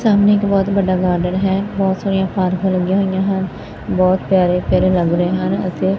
ਸਾਹਮਣੇ ਇੱਕ ਬਹੁਤ ਵੱਡਾ ਗਾਰਡਨ ਹੈ ਬਹੁਤ ਸਾਰੀਆਂ ਪਾਰਕਾ ਲੱਗੀਆਂ ਹੋਈਆਂ ਹਨ ਬਹੁਤ ਪਿਆਰੇ ਪਿਆਰੇ ਲੱਗ ਰਹੇ ਹਨ ਅਤੇ--